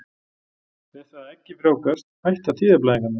Við það að eggið frjóvgast hætta tíðablæðingarnar.